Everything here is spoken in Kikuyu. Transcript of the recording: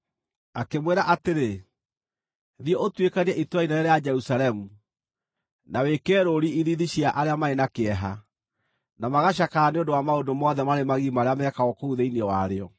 akĩmwĩra atĩrĩ, “Thiĩ ũtuĩkanie itũũra inene rĩa Jerusalemu, na wĩkĩre rũũri ithiithi cia arĩa marĩ na kĩeha, na magacakaya nĩ ũndũ wa maũndũ mothe marĩ magigi marĩa mekagwo kũu thĩinĩ warĩo.”